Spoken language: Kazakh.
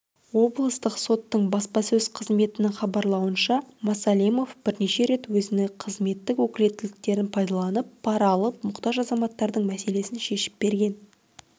облыстық соттың баспасөз қызметінің хабарлауынша масалимов бірнеше рет өзіні қызметтік өкілеттіктерін пайдаланып пара алып мұқтаж азаматтардың мәселесін шешіп берген